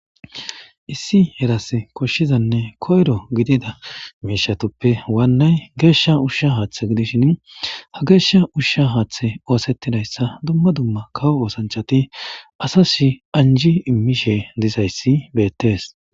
Issi eras koshshizanne koyro gidida miishatoppe waannay geeshsha ushsha haaththe gidishin ha geeshsha ushsha haaththe oosettidayssa dumma dumma kawo oosanchati asashi anji immishe dizayssi beettees.